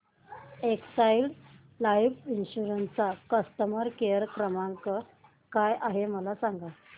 Exide life insurance चा customer care क्रमांक काय आहे मला सांगा